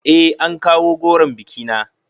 Eh an kawo goron bikina